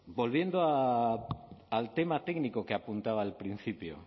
volviendo al tema técnico que apuntaba al principio